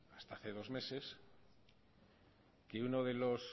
hasta hace dos meses que uno de los